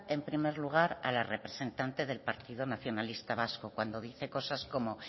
en primer lugar a la representante del partido nacionalista vasco cuando dice cosas como